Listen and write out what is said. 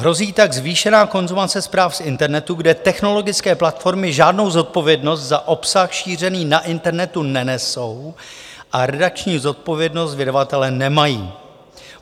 Hrozí tak zvýšená konzumace zpráv z internetu, kde technologické platformy žádnou zodpovědnost za obsah šířený na internetu nenesou a redakční zodpovědnost vydavatele nemají."